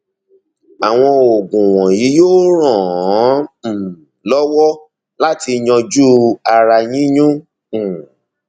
àwọn oògùn wọnyí yóò ràn án um lọwọ láti yanjú ara yíyún um